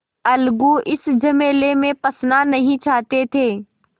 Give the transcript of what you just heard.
अलगू इस झमेले में फँसना नहीं चाहते थे